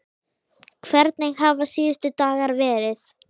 Hvernig hafa síðustu dagar verið?